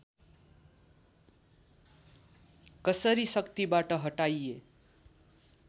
कसरी शक्तिबाट हटाइए